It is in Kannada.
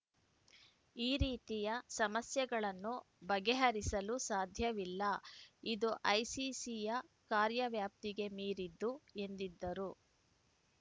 ಈ ರೀತಿಯ ಸಮಸ್ಯೆಗಳನ್ನು ಬರೆಹರಿಸಲು ಸಾಧ್ಯವಿಲ್ಲ ಇದು ಐಸಿಸಿಯ ಕಾರ್ಯವ್ಯಾಪ್ತಿಗೆ ಮೀರಿದ್ದು ಎಂದಿದ್ದರು